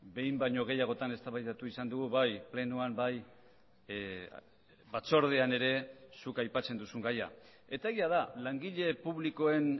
behin baino gehiagotan eztabaidatu izan dugu bai plenoan bai batzordean ere zuk aipatzen duzun gaia eta egia da langile publikoen